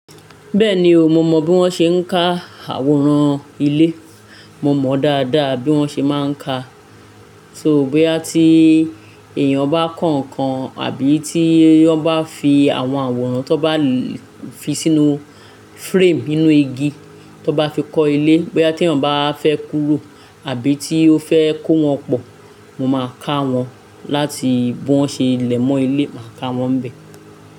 Bẹ́ẹ̀ni o, mo mọ bí wọ́n ṣe ń ka àwòrán ilé. Mọ mọ dáadáa bí wọ́n ṣe má ń ka. Só bóyá tí èèyàn bá kọ kàn àbí tí ó bá fi àwọn àwòrán tó bá fi sínú frame inú igi tó bá fi kọ́ ilé. Bóyá tí èèyàn báa fẹ́ kúrò àbí tí ó fẹ́ kó wọn pọ̀, mọ máa kà wọ́n láti bí wọ́n ṣe lẹ mọ ilé, màá kà wọ́n bẹ̀.